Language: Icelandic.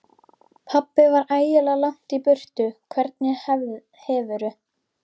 Pabbi var ægilega langt í burtu. Hvernig hefurðu.